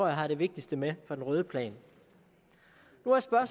jeg har det vigtigste med fra den røde plan